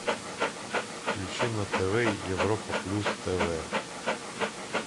включи на тв европа плюс тв